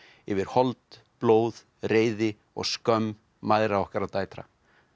yfir hold blóð reiði og skömm mæðra okkar og dætra